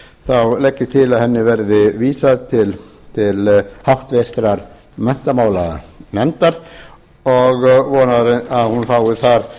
þá legg ég til að henni verði vísað til háttvirtrar menntamálanefndar og vona að hún fái þar